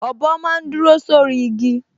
Ọ̀bọ máa n dúró sórí igi